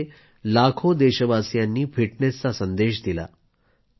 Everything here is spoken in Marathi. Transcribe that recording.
त्यामध्ये लाखो देशवासियांनी फिटनेसचा संदेश दिला